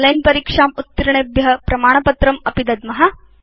online परीक्षाम् उत्तीर्णेभ्य वयं प्रमाणपत्रमपि दद्म